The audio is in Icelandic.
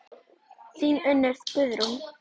Þín Unnur Guðrún.